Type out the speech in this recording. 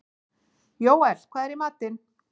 Jóel, hvað er í matinn?